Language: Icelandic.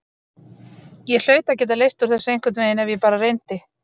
Ég hlaut að geta leyst úr þessu einhvern veginn ef ég bara reyndi.